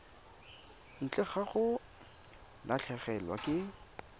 ntle ga go latlhegelwa ke